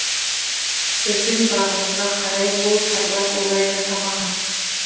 біздің бағымызға қарай бұл сарбаз олай жасамаған